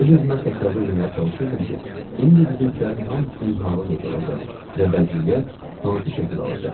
Öz-özümə təsəvvür eləməyə çalışırdım ki, indi bizimkilərin hamısının halı necə olacaq və vəziyyət hansı şəkil alacaq.